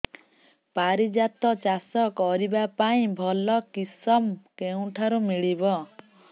ପାରିଜାତ ଚାଷ କରିବା ପାଇଁ ଭଲ କିଶମ କେଉଁଠାରୁ ମିଳିବ